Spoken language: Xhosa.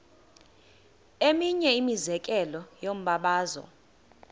eminye imizekelo yombabazo